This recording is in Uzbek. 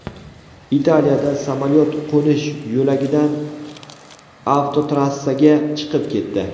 Italiyada samolyot qo‘nish yo‘lagidan avtotrassaga chiqib ketdi.